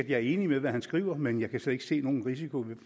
jeg er enig i hvad han skriver men jeg kan slet ikke se nogen risiko